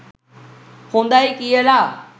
හොදයි කියලා.